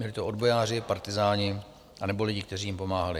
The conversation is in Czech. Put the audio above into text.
Byli to odbojáři, partyzáni anebo lidi, kteří jim pomáhali.